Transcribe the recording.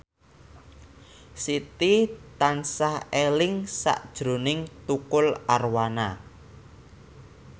Siti tansah eling sakjroning Tukul Arwana